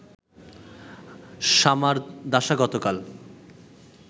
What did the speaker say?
সামারদাসা গতকাল